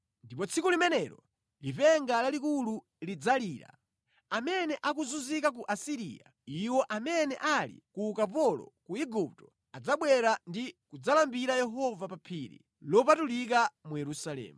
Ndipo tsiku limenelo lipenga lalikulu lidzalira. Amene akuzunzika ku Asiriya iwo amene ali ku ukapolo ku Igupto adzabwera ndi kudzalambira Yehova pa phiri lopatulika mu Yerusalemu.